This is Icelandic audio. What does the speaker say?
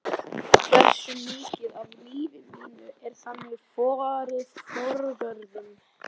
Hversu mikið af lífi mínu er þannig farið forgörðum?